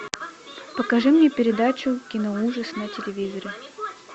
покажи мне передачу кино ужас на телевизоре